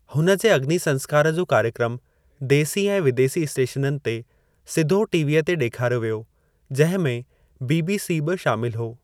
हुन जे अग्नि संस्कार जो कार्यक्रम देसी ऐं विदेसी स्‍टेशननि ते सिधो टीवीअ ते ॾेखारियो वियो, जंहिं में बीबीसी बि शामिल हो।